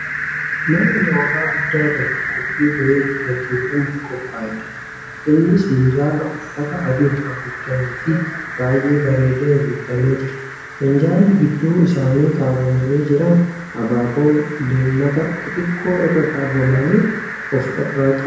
Mana nyaataa guddaa bakka qophiin wayii itti gaggeeffamuuf qophaa'edha. Innis minjaala uffata adiin haguugameefi baay'ee bareedeen guutamee jira. Minjaalli gidduu isaanii kaawwamanii jiran abaaboon leemataa xixiqqoo irra kaawwaman of irraa qaba.